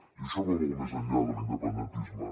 i això va molt més enllà de l’independentisme